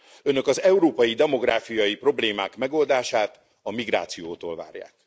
Önök az európai demográfiai problémák megoldását a migrációtól várják.